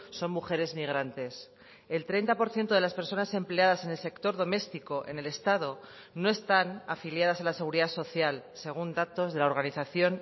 son mujeres migrantes el treinta por ciento de las personas empleadas en el sector doméstico en el estado no están afiliadas a la seguridad social según datos de la organización